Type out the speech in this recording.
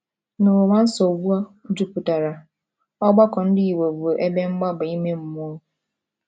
N’ụwa a nsogbu jupụtara, ọgbakọ Ndị Igbo bụ ebe mgbaba ime mmụọ.